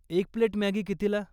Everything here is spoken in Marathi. एक प्लेट मॅगी कितीला ?